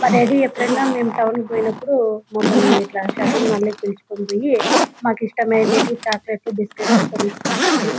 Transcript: మా డాడీ ఎప్పుడైనా టౌన్ కి పోయినపుడు మమల్ని ఇట్లా షాపింగ్ మాల్ కి పిలుచుకుపోయి మా ఇష్టం అనేటివి చాక్లేట్ లు బిస్కట్స్ కొనిస్తుంటాడు.